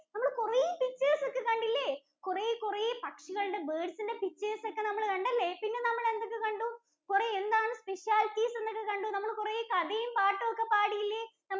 നമ്മള് കുറെ pictures ഒക്കെ കണ്ടില്ലേ? നമ്മള് കുറെ കുറെ പക്ഷികളുടെ birds ഇന്‍റെ pictures ഒക്കെ നമ്മള് കണ്ടല്ലേ? പിന്നെ നമ്മള് എന്തൊക്കെ കണ്ടു? കുറേ എന്താണ് specialities എന്നൊക്കെ കണ്ടു. നമ്മള് കുറേ കഥയും പാട്ടുമൊക്കെ പാടീല്ലേ?